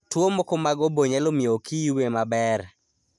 Tuwo moko mag obo nyalo miyo oki yue maber.